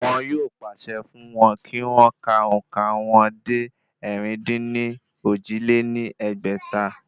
Wọn yóò pàṣẹ fún wọn kí wọ́n ka òǹkà wọn dé ẹ̀rin-dín-ní-ojì lé ní ẹgbẹ́ta?